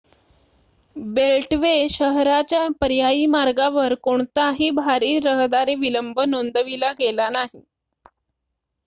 beltway शहराच्या पर्यायी मार्गावर कोणताही भारी रहदारी विलंब नोंदविला गेला नाही